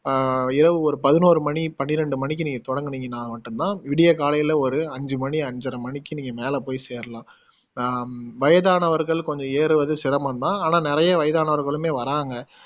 அஹ் இரவு ஒரு பதினோரு மணி பன்னிரெண்டு மணிக்கு நீங்க தொடங்குனிங்கன்னா மட்டும் தான் விடிய காலைல ஒரு அஞ்சு மணி அஞ்சறை மணிக்கு நீங்க மேல போய் சேரலாம் ஹம் வயதானவர்கள் கொஞ்சம் ஏறுவது சிரமம் தான் ஆனா நிறைய வயதானவர்களுமே வர்றாங்க